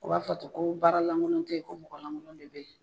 U b'a fɔ ten ko baara lankolon te yen ko mɔgɔ lankolon de be yen.